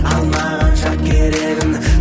алмағанша керегін